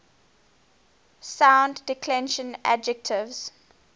second declension adjectives